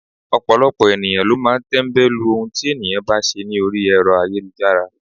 Ọ̀pọ̀lọpọ̀ ènìyàn ló máa ń tẹ́ńbẹ́lú ohun tí ènìyàn bá ṣe ní orí Ẹ̀rọ ayélujára.